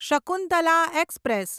Shakuntala express